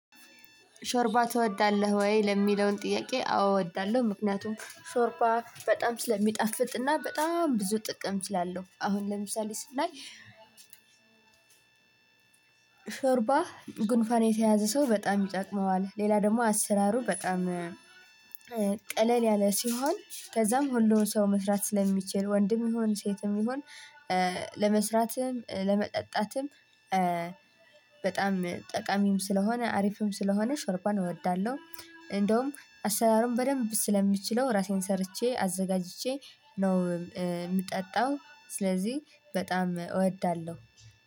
ሾርባ ትወዳለህ ወይ ለሚለው ጥያቄ? አዎ እወዳለሁ ምክንያቱም ሾርባ በጣም ስለሚጣፍጥ እና በጣም ብዙ ጥቅም ስላለው አሁን ለምሳሌ ስናይ። ሾርባ ጉንፋን የተያዘ ሰው በጣም ይጠቅመዋል ሌላ ደግሞ አሰራሩ በጣም ቀለል ያለ ሲሆን ከዛም ሁሉም ሰው መስራት ስለሚችል ወንድም ይሁን ሴትም ይሁን ለመስራትም ለመጠጣትም በጣም ጠቃሚም ስለሆነ አሪፍም ስለሆነ ሾርባን እወዳለሁ። እንደውም አሰራሩን በደንብ ስለምችለው ራሴ ሰርቼ አዘጋጅቼ ነው እምጠጣው። ስለዚህ በጣም እወዳለሁ።